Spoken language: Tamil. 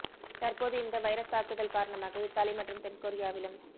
தற்போது இந்த வைரஸ் தாக்குதல் காரணமாக இத்தாலி மற்றும் தென்கொரியாவிலும்